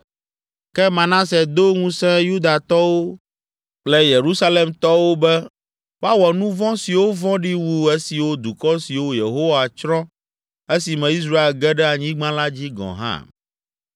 Ke Manase do ŋusẽ Yudatɔwo kple Yerusalemtɔwo be woawɔ nu vɔ̃ siwo vɔ̃ɖi wu esiwo dukɔ siwo Yehowa tsrɔ̃ esime Israel ge ɖe anyigba la dzi gɔ̃ hã.